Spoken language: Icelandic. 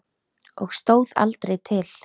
Og stóð aldrei til.